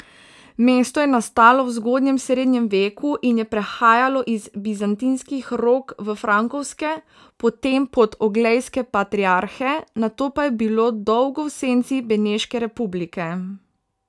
Mesto je nastalo v zgodnjem srednjem veku in je prehajalo iz bizantinskih rok v frankovske, potem pod oglejske patriarhe, nato pa je bilo dolgo v senci Beneške republike.